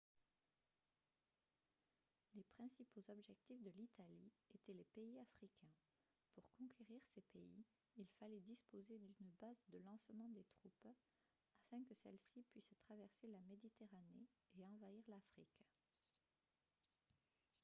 les principaux objectifs de l'italie étaient les pays africains pour conquérir ces pays il fallait disposer d'une base de lancement des troupes afin que celles-ci puissent traverser la méditerranée et envahir l'afrique